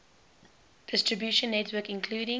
distribution network including